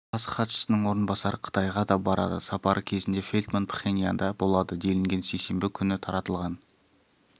бас хатшының орынбасары қытайға да барады сапары кезінде фелтман пхеньянда болады делінген сейсенбі күні таратылған